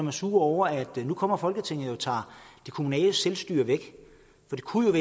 er sure over at nu kommer folketinget og tager det kommunale selvstyre væk for det kunne jo